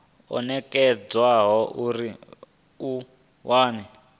o nekedzwaho uri a wane